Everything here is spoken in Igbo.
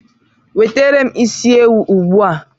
Wetara m isi ewu ugbua!